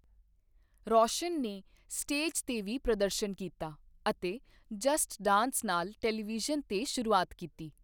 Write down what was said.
ਰੌਸ਼ਨ ਨੇ ਸਟੇਜ 'ਤੇ ਵੀ ਪ੍ਰਦਰਸ਼ਨ ਕੀਤਾ ਅਤੇ 'ਜਸਟ ਡਾਂਸ' ਨਾਲ ਟੈਲੀਵਿਜ਼ਨ 'ਤੇ ਸ਼ੁਰੂਆਤ ਕੀਤੀ।